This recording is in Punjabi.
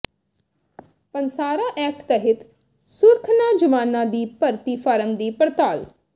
ਪੰਸਾਰਾ ਐਕਟ ਤਹਿਤ ਸੁਰਖਨਾ ਜਵਾਨਾਂ ਦੀ ਭਰਤੀ ਫਾਰਮ ਦੀ ਪੜਤਾਲ